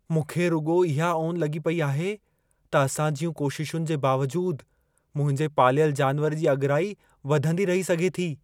मूंखे रुॻो इहा ओन लॻी पई आहे त असां जियूं कोशिशुनि जे बावजूद मुंहिंजे पालियल जानिवर जी अॻिराई वधंदी रही सघे थी।